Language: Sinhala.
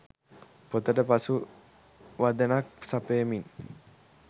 පොතට පසු වදනක් සපයමින්